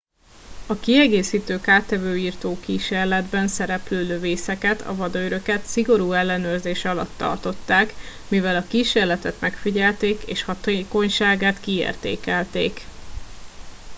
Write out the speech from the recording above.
a kiegészítő kártevőírtó kísérletben szereplő lövészeket a vadőröket szigorú ellenőrzés alatt tartották mivel a kísérletet megfigyelték és hatékonyságát kiértékelték